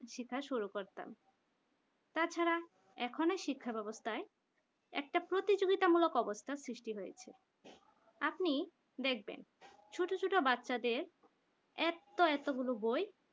সেটাই শুরু করতাম তাছাড়া এখনই শিক্ষা ব্যবস্থায় একটা প্রতিযোগিতামূলক অবস্থা সৃষ্টি হয়েছে আপনি দেখবেন ছোট ছোট বাচ্চাদের এত এতগুলো বই